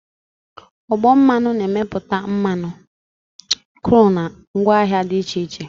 Ọgbọ mmanụ na-emepụta mmanụ kru na ngwaahịa dị iche iche